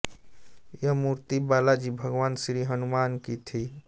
यह मूर्त्ति बालाजी भगवान श्री हनुमान की थी